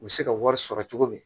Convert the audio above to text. U bɛ se ka wari sɔrɔ cogo min